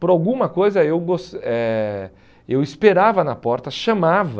Por alguma coisa, eu gos eh eu esperava na porta, chamava...